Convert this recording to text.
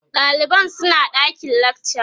ɗaliban suna ɗakin lakca